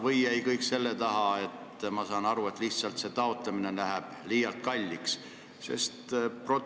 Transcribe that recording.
Või jäi kõik selle taha, nagu ma aru olen saanud, et lihtsalt see taotlemine läheb liialt kalliks?